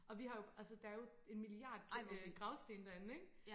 og vi har jo altså der er jo en milliard øh gravstene derinde ikke